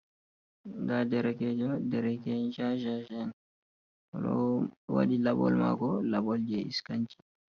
Nda derekejo dereke'en cacasha oɗo wadi laɓol mako laɓol je iscanchi.